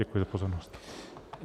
Děkuji za pozornost.